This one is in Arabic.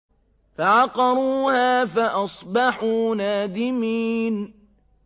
فَعَقَرُوهَا فَأَصْبَحُوا نَادِمِينَ